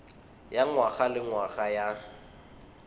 ya ngwaga le ngwaga ya